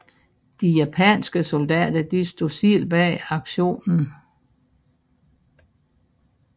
De japanske soldater stod selv bag aktionen